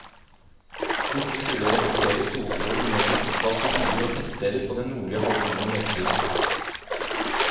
Disse skulle reflektere solstråler ned til utvalgte byer og tettsteder på den nordlige halvkulen i mørketiden.